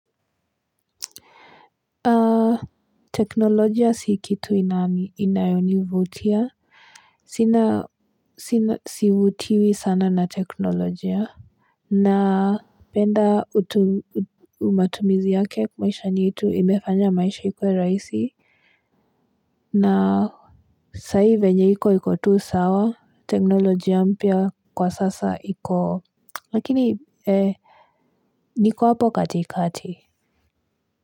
Teknolojia si kitu inayonivutia, sivutiwi sana na teknolojia. Napenda matumizi yake maishani yetu imefanya maisha ikuwe rahisi. Na saa hii venye iko iko tu sawa, teknolojia mpya kwa sasa iko. Lakini, niko hapo katikati.